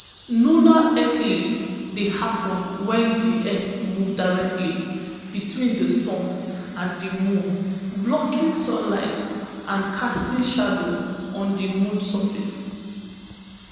lunar eclipse dey happen wen di earth move directly between di sun and di moon blocking sunlight and casting shadow on di moon surface